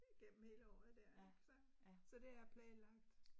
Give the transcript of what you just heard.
Gennem hele året der ik så så det er planlagt